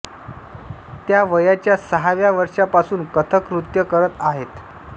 त्या वयाच्या सहाव्या वर्षापासून कथक नृत्य करत आहेत